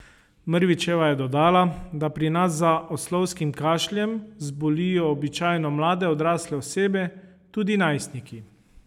Mrvičeva je dodala, da pri nas za oslovskim kašljem zbolijo običajno mlade odrasle osebe, tudi najstniki.